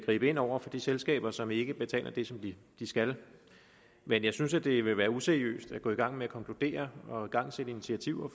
gribe ind over for de selskaber som ikke betaler det som de skal men jeg synes at det ville være useriøst at gå i gang med at konkludere og igangsætte initiativer